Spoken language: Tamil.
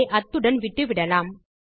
ஆகவே அத்துடன் விட்டுவிடலாம்